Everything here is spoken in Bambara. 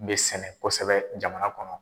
N bɛ sɛnɛ kosɛbɛ jamana kɔnɔ.